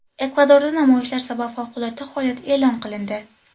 Ekvadorda namoyishlar sabab favqulodda holat e’lon qilindi.